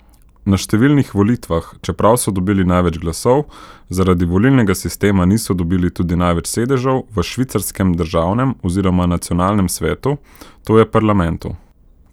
Na številnih volitvah, čeprav so dobili največ glasov, zaradi volilnega sistema niso dobili tudi največ sedežev v švicarskem Državnem oziroma Nacionalnem svetu, to je parlamentu.